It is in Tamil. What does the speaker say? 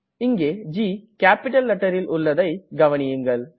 இங்கே ஜி கேப்பிட்டல் letterல் உள்ளதை கவனியுங்கள்